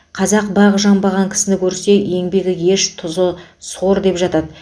қазақ бағы жанбаған кісіні көрсе еңбегі еш тұзы сор деп жатады